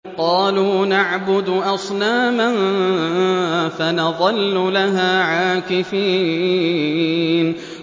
قَالُوا نَعْبُدُ أَصْنَامًا فَنَظَلُّ لَهَا عَاكِفِينَ